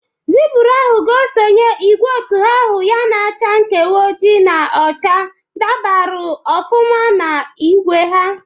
Zibụra ahụ ga esonye ìgwè otu ha, ahụ ya na acha nkewa ojii na ọcha dabarụ ofụma na igwe ha.